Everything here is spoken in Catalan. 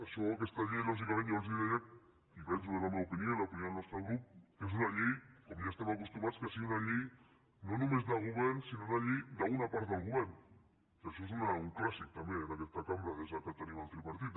això aquesta llei lògicament jo els deia i penso que és la meva opinió i l’opinió del nostre grup que és una llei com ja estem acostumats que sigui una llei no només del govern sinó una llei d’una part del govern que això és un clàssic també en aquesta cambra des que tenim el tripartit